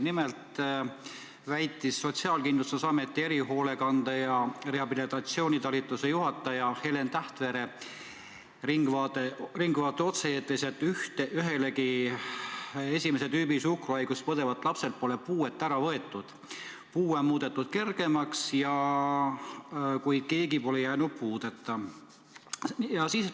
Nimelt väitis Sotsiaalkindlustusameti erihoolekande ja rehabilitatsiooni talituse juhataja Helen Tähtvere "Ringvaate" otse-eetris, et üheltki esimese tüübi suhkruhaigust põdevalt lapselt pole puudeastet ära võetud, küll on seda muudetud kergemaks, kuid keegi pole jäänud puudeastmeta.